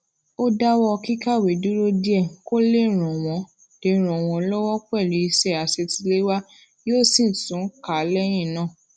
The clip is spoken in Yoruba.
ó dáwó kíkàwé dúró díè kó lè ran won lè ran won lowo pelu iṣé àṣetiléwá yóò sì tún kà á léyìn náà